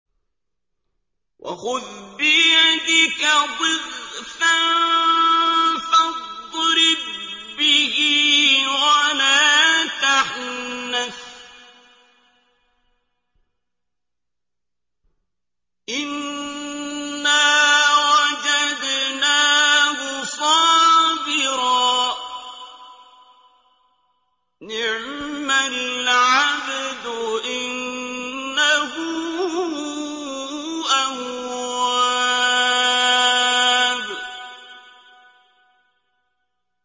وَخُذْ بِيَدِكَ ضِغْثًا فَاضْرِب بِّهِ وَلَا تَحْنَثْ ۗ إِنَّا وَجَدْنَاهُ صَابِرًا ۚ نِّعْمَ الْعَبْدُ ۖ إِنَّهُ أَوَّابٌ